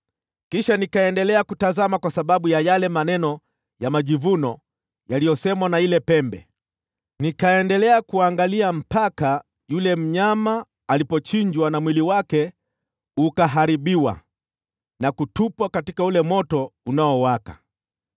“Kisha nikaendelea kutazama kwa sababu ya yale maneno ya majivuno yaliyosemwa na ile pembe. Nikaendelea kuangalia mpaka yule mnyama alipouawa, na mwili wake ukaharibiwa na kutupwa katika ule moto uliowaka.